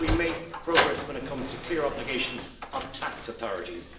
We've made progress when it comes to clear obligations of tax authorities.